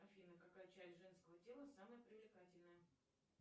афина какая часть женского тела самая привлекательная